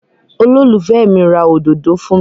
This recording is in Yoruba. Olólùfẹ́ mi ra òdodo fún mi.